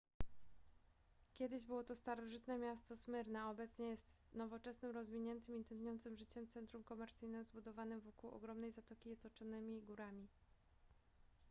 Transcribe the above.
kiedyś było to starożytne miasto smyrna a obecnie jest nowoczesnym rozwiniętym i tętniącym życiem centrum komercyjnym zbudowanym wokół ogromnej zatoki i otoczonym górami